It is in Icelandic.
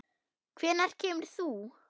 Hvenær kemur þú?